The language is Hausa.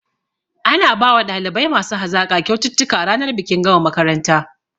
Ana bawa ɗalibai masu hazaƙa kyaututtuka ranar bikin gama makaranta